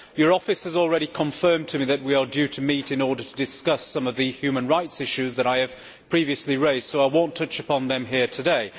Your office has already confirmed to me that we are due to meet in order to discuss some of the human rights issues that I have previously raised, so I shall not touch upon them here today.